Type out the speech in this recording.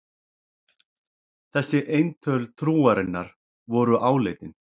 Þessi eintöl trúarinnar voru áleitin.